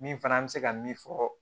Min fana bɛ se ka min fɔ